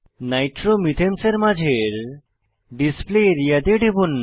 নাইট্রোমিথেনসের মাঝের display area তে টিপুন